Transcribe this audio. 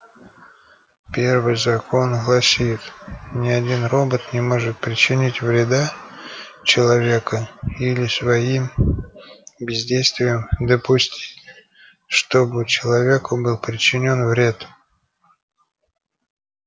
первый закон гласит ни один робот не может причинить вреда человеку или своим бездействием допустить чтобы человеку был причинён вред